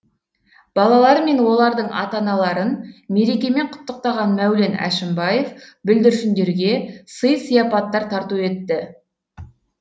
балалар мен олардың ата аналарын мерекемен құттықтаған мәулен әшімбаев бүлдіршіндерге сый сияпаттар тарту етті